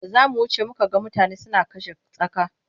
Da za mu wuce muka ga mutane suna kashe tsaka.